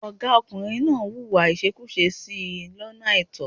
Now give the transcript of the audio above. Ọ̀gá ọkùnrin náà hùwà ìṣekúṣe sí i lọ́nà àìtọ́.